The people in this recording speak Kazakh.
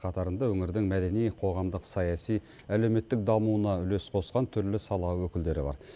қатарында өңірдің мәдени қоғамдық саяси әлеуметтік дамуына үлес қосқан түрлі сала өкілдері бар